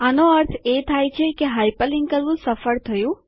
આનો અર્થ એ થાય છે કે હાઇપરલિન્ક કરવું સફળ થયું